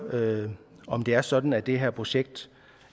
om det er sådan at det her projekt